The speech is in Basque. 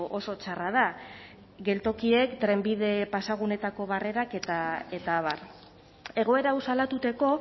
oso txarra da geltokiek trenbide pasaguneetako barrerak eta abar egoera hau salatuteko